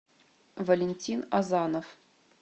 валентин азанов